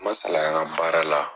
Ma salaya n ka baara la.